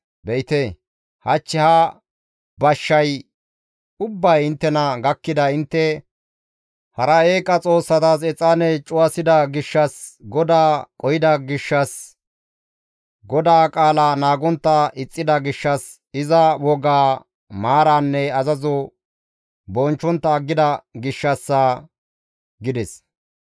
Be7ite, hach ha bashshay ubbay inttena gakkiday intte hara eeqa xoossatas exaane cuwasida gishshas, GODAA qohida gishshas, GODAA qaala naagontta ixxida gishshas, iza wogaa, maaraanne azazo bonchchontta aggida gishshassa» gides.